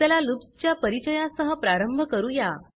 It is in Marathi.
चला लूप्स च्या परिचया सह प्रारंभ करूया